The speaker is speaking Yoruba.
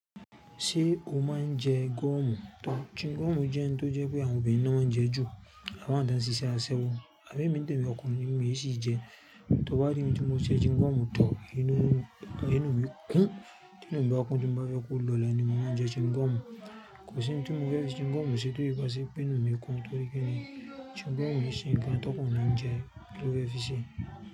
Ṣé o máa ń jẹ gúọ̀mù tán? Chin gúọ̀mù jẹ́ ohun tó jẹ́ pé àwọn obìnrin náà ń jẹ jù. A máa dà á sí iṣẹ́ aṣẹ́wó. Àmo é mi tẹ̀mi ọkùnrin mi yìí ṣì jẹ? Tí o bá ríi tí mo je chin gúọ̀mù tán, inú mi kún. Tí inú mi bá kún, tí mo bá fẹ́ kó lọlẹ̀, ni mi máa ń jẹ chin gúọ̀mù. Kò sí ohun tí mo fẹ́ fi chin gúọ̀mù ṣe to í bá ṣe pé inú mi kún torí ki ní chin gúọ̀mù sì ń kán tó kun rí ń jẹ, ló fẹ́ fi ṣe.